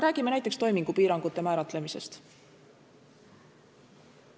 Räägime näiteks toimingupiirangute määratlemisest.